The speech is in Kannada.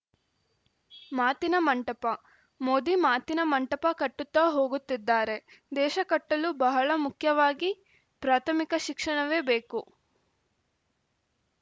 ಮಾತಿನ ಮಂಟಪ ಮೋದಿ ಮಾತಿನ ಮಂಟಪ ಕಟ್ಟುತ್ತಾ ಹೋಗುತ್ತಿದ್ದಾರೆ ದೇಶ ಕಟ್ಟಲು ಬಹಳ ಮುಖ್ಯವಾಗಿ ಪ್ರಾಥಮಿಕ ಶಿಕ್ಷಣವೇ ಬೇಕು